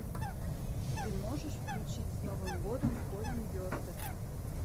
ты можешь включить с новым годом колин бестед